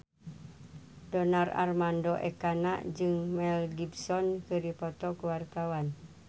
Donar Armando Ekana jeung Mel Gibson keur dipoto ku wartawan